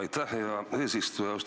Aitäh, hea eesistuja!